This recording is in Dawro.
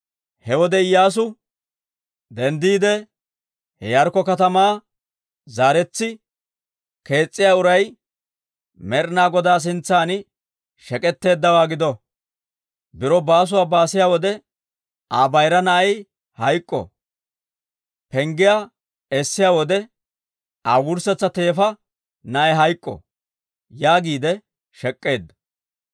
He wode Iyyaasu: «Denddiide ha Yaarikko katamaa zaaretsi kees's'iyaa uray, Med'ina Godaa sintsan, shek'etteeddawaa gido. Biro baasuwaa baasiya wode, Aa bayira na'ay hayk'k'o. Penggiyaa essiyaa wode, Aa wurssetsa teefa na'ay hayk'k'o» yaagiide shek'k'eedda.